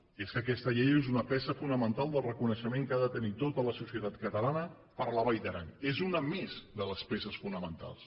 i és que aquesta llei és una peça fonamental del reconeixement que ha de tenir tota la societat catalana per la vall d’aran és una més de les peces fonamentals